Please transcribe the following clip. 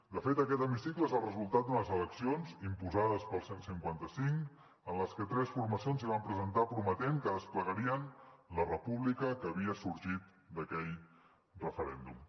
de fet aquest hemicicle és el resultat d’unes eleccions imposades pel cent i cinquanta cinc en les que tres formacions s’hi van presentar prometent que desplegarien la república que havia sorgit d’aquell referèndum